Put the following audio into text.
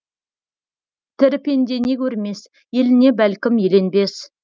тірі пенде не көрмес еліне бәлкім еленбес